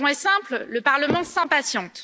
La raison est simple le Parlement s'impatiente.